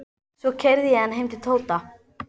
Svo keyrði ég hann heim til Tóta.